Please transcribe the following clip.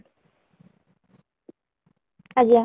ଆଜ୍ଞା